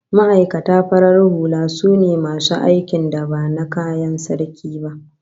Ma'aikata farar hula sune masu aikin da ba na kayan Sarki ba